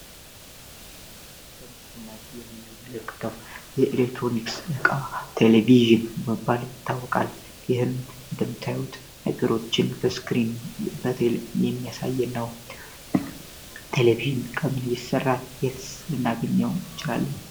በምስሉ ላይ የምንመለከተው የኤሌክትሮኒክስ ዕቃ ቴሌቪዥን በመባል ይታወቃል ይህም እንደምታዩት ሙስሊም በትልቁ የሚያሳየነው ቴሌቪዥን እንዴት ይሰራል እንዴትስ እናገኛለን?